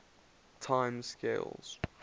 time scales